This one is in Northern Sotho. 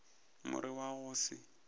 more wo wa go se